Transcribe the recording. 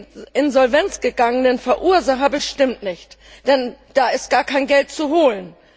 Die in die Insolvenz gegangenen Verursacher bestimmt nicht, denn da ist gar kein Geld zu holen.